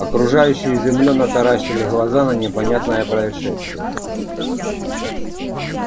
окружающие изумлённо таращили глаза на непонятное происшествие